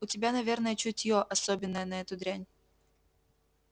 у тебя наверное чутье особенное на эту дрянь